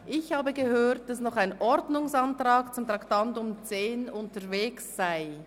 Ich habe gehört, dass ein Ordnungsantrag zum Traktandum 10 unterwegs sei.